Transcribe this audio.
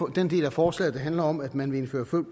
den del af forslaget der handler om at man vil indføre